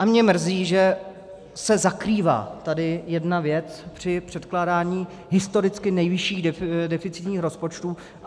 A mě mrzí, že se zakrývá tady jedna věc při předkládání historicky nejvyšších deficitních rozpočtů.